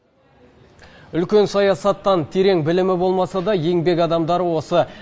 үлкен саясаттан терең білімі болмаса да еңбек адамдары осы